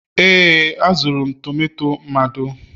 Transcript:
ee, azụrụ m tomato mado